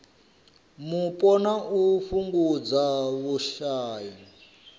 mupo na u fhungudza vhushai